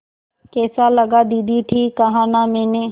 कैसा लगा दीदी ठीक कहा न मैंने